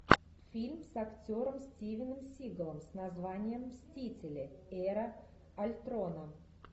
фильм с актером стивеном сигалом с названием мстители эра альтрона